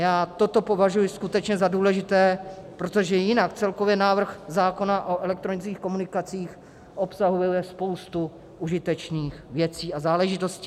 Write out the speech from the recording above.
Já toto považuji skutečně za důležité, protože jinak celkově návrh zákona o elektronických komunikacích obsahuje spoustu užitečných věcí a záležitostí.